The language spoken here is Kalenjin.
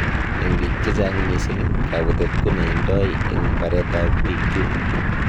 Eng bik che echeng missing, kabutet koneindoi eng baret ab bik chutok.